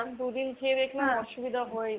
দু'দিন খেয়ে দেখি অসুবিধা হয় নি